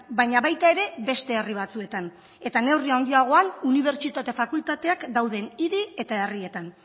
baina baita ere beste herri batzuetan eta neurri haundiagoan unibertsitate fakultateak dauden hiri eta herrietan